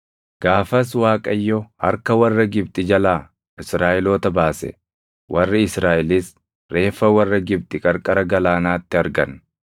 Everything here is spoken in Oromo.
Gaafas Waaqayyo harka warra Gibxi jalaa Israaʼeloota baase; warri Israaʼelis reeffa warra Gibxi qarqara galaanaatti argan.